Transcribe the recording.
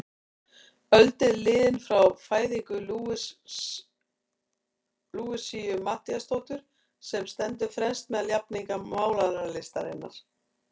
Öld er liðin frá fæðingu Louisu Matthíasdóttur, sem stendur fremst meðal jafningja málaralistarinnar.